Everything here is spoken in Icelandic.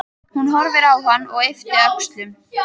Hún horfir á hann og ypptir öxlum.